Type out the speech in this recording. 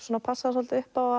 passa svolítið upp á